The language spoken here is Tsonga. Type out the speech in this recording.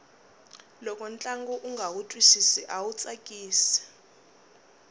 loko ntlangu unga wu twisisi awu tsakisi